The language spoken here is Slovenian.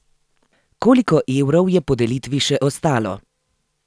Koliko evrov je po delitvi še ostalo?